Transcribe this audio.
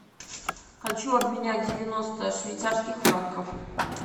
хочу обменять девяносто швейцарских франков